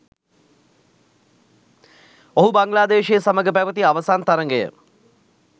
ඔහු බංගලාදේශය සමග පැවති අවසන් තරගය